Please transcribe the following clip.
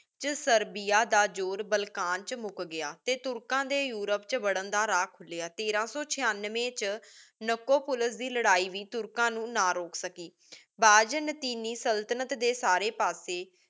ਵਿਚ Serbia ਦਾ ਜੂਰ Balkan ਵਿਚ ਮੁਕ ਗਯਾ ਤੇ ਤੁਰਕਾਂ ਦੇ ਯੂਰੋਪ ਵਿਚ ਵਾਰਾਂ ਦਾ ਰਾਹ ਖੁਲ੍ਯਾ। ਤੇਰਾ ਸੋ ਛਿਆਨੀਵੇ ਚ ਨੈਕੋ ਪੁਲਿਸ ਦੀ ਲੜਾਈ ਵੀ ਤੁਰਕਾਂ ਨੂ ਨਾ ਰੋਕ ਸਕੀ। ਬਾਜ਼ਨ੍ਤੀਨੀ ਸੁਲ੍ਤ੍ਨਤ ਦੇ ਸਾਰੇ ਪਾਸੇ